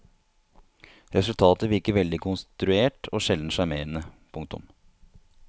Resultatet virker veldig konstruert og sjelden sjarmerende. punktum